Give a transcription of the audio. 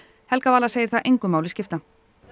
helga Vala segir það engu máli skipta